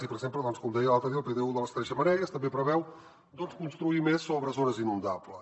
i per exemple doncs com deia l’altre dia el pdu de les tres xemeneies també preveu construir més sobre zones inundables